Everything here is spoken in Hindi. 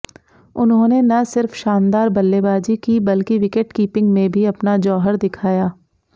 उन्होंने न सिर्फ शानदार बल्लेबाजी की बल्कि विकेटकीपिंग में भी अपना जौहर दिखाया